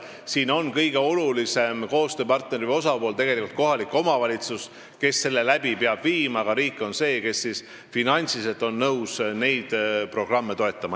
Siin on kõige olulisem koostööpartner või osapool tegelikult kohalik omavalitsus, kes peab seda korraldama, aga riik on nõus finantsiliselt toetama.